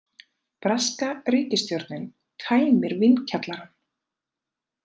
Breska ríkisstjórnin tæmir vínkjallarann